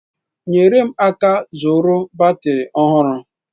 Nyere m aka ịzụrụ batrị ọhụrụ.